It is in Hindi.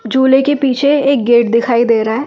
चूले के पीछे एक गेट दिखाई दे रहा है ।